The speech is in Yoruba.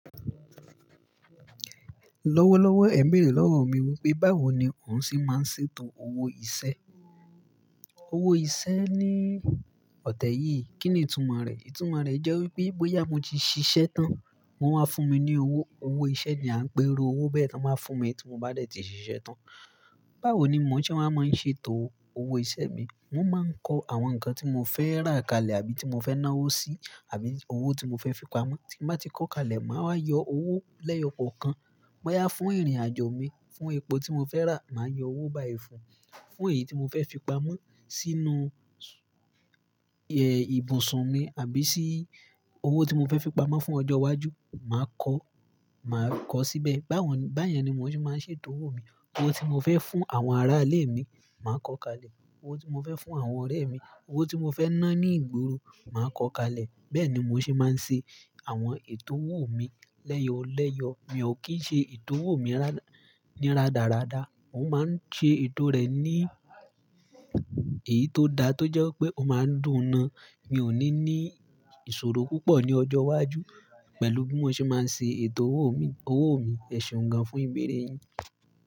Lọ́wọ́lọ́wọ́ ẹ̀ ń bèrè lọ́wọ́ mi wípé, báwo ni òun ṣe máa ń ṣètò owó iṣẹ́? Owó iṣẹ́ ní ọ̀tẹ́ yìí, kí ni ìtumò rẹ̀? Ìtumò rẹ̀ jẹ́ wípé bóyá mo ti ṣiṣẹ́ tán, wón máa fún mi ní owó. Owó iṣẹ́ ni à ń pè iru owó bẹ́ẹ̀ tan báa fún mi tí mo bá dẹ tí ṣiṣẹ́ tán. Báwo ni mò ń ṣe máa ń ṣètò owó iṣẹ́ mi? Mo máa ń kọ àwọn nǹkan tí mo fẹ́ rà kalẹ̀ àbí tí mo fẹ́ ná owó sí àbí owó tí mo fẹ́ fi pamọ́. Tí n bá ti kọ kalẹ̀, màá wa yọ owó lẹ́yọ kọkan. Bóyá fún ìrìnàjò mi, fún epo tí mo fẹ́ rà, màá yọ owó bá yi fún. Fún èyí tí mo fẹ́ fi pamọ́ sínú, ẹ́, ibùsùn mi àbí sí owó tí mo fẹ́ fi pamọ́ fún ọjọ́ iwájú, màá kọ, màá kọ síbẹ̀. Báwo ni, bá yẹn ni mò ń ṣe máa ń ṣètò owó mi. Owó tí mo fẹ́ fún àwọn ará ilé mi, màá kọ kalẹ̀. Owó tí mo fẹ́ fún àwọn ọ̀rẹ́ mi, owó tí mo fẹ́ ná ní ìgboro, màá kọ kalẹ̀. Bẹ́ẹ̀ ni mò ṣe máa ń ṣe àwọn ètò owó mi lẹ́yọ̀ lẹ́yọ̀. Mi ò kì í ṣe ètò owó mi rádà, ní rádaràda. Òun máa ń ṣe ètò rẹ̀ ní èyí tó da tó jẹ́ pé ó máa ń dùn ún ná. Mi ò ní ní ìṣòro púpọ̀ ní ọjọ́ iwájú pẹ̀lú bí mo ṣe máa ṣe ètò owó mi, owó mi. Ẹ̀ṣeun gan fún ìbéèrè yìí.